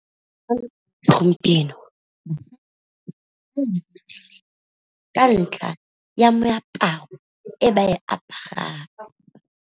Gompieno ka ntla ya meaparo e ba e aparang.